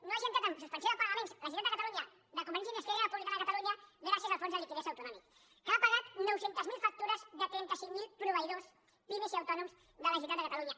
no hagi entrat en suspensió de pagaments la generalitat de catalunya de convergència i unió i esquerra republicana de catalunya gràcies al fons de liquiditat autonòmic que ha pagat nou cents miler factures de trenta cinc mil proveïdors pimes i autònoms de la generalitat de catalunya